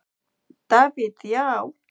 Davíð Já.